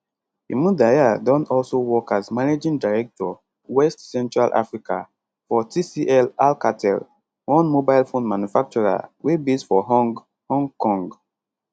imudia don also work as managing director west central africa for tclalcatel one mobile phone manufacturer wey base for hong hong kong